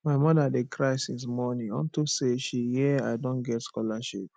my mother dey cry since morning unto say she hear i don get scholarship